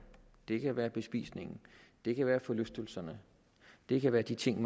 det kan være bespisningen det kan være forlystelserne det kan være de ting